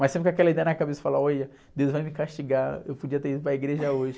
Mas sempre com aquela ideia na cabeça, falar, olha, deus vai me castigar, eu podia ter ido para a igreja hoje.